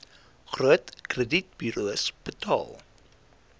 groot kredietburos betaal